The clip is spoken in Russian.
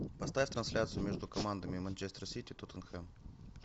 поставь трансляцию между командами манчестер сити тоттенхэм